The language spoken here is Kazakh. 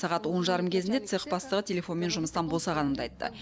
сағат он жарым кезінде цех бастығы телефонмен жұмыстан босағанымды айтты